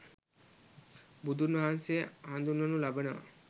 බුදුන් වහන්සේ හඳුන්වනු ලබනවා.